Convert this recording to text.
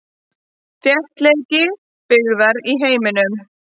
Þéttleiki byggðar í heiminum.